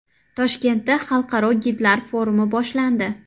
Toshkentda xalqaro gidlar forumi boshlandi.